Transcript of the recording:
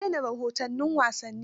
An daina rahoton wasanni.